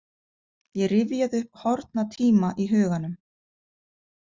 Ég rifjaði upp horfna tíma í huganum.